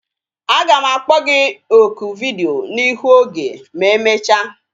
Aga m akpọ gi oku vidiyo n'ihu oge ma emecha